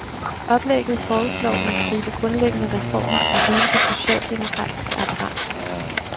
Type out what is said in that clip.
Oplægget foreslår en stribe grundlæggende reformer af hele det socialdemokratiske apparat.